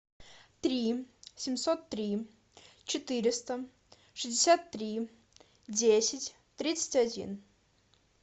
три семьсот три четыреста шестьдесят три десять тридцать один